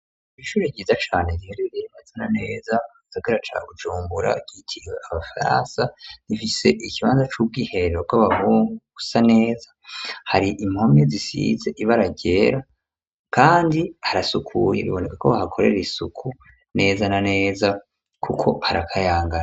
Ibishure ryiza cane riherereye inezana neza sagara ca gujumbura ryitiwe abafransa rifise ikibanza c'ubwiherero ko bagungusa neza hari impomye zisize ibe aragyera, kandi harasukuye biboneka ko bahakorera isuku neza na neza, kuko arakayangara.